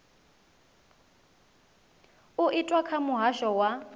u itwa kha muhasho wa